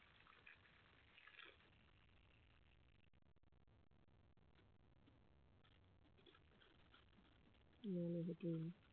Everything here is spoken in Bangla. না হলে হতোই না